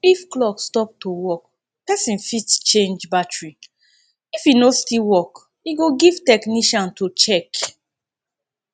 if clock stop to work person fit change battary if e no still work e go give technician to check